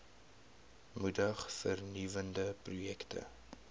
moedig vernuwende projekte